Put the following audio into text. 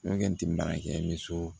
Nɔkɔnti baarakɛminsɔ